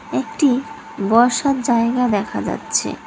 একটি বসার জায়গা দেখা যাচ্ছে।